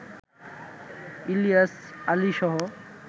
Ilias আলীসহ